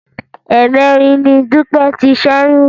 Ẹ̀ẹ̀mẹ́rin ni Dúpẹ́ ti ṣẹ́yún